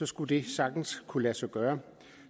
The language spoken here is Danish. skulle det sagtens kunne lade sig gøre